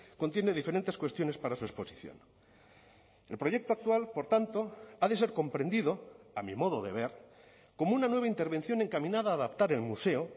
contiene diferentes cuestiones para su exposición el proyecto actual por tanto ha de ser comprendido a mi modo de ver como una nueva intervención encaminada a adaptar el museo